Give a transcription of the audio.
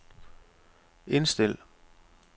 indstil